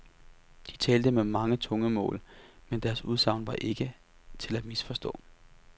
De talte med mange tungemål, men deres udsagn var ikke til at misforstå.